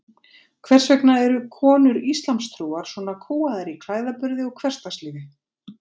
Hvers vegna eru konur íslamstrúar svona kúgaðar í klæðaburði og hversdagslífi?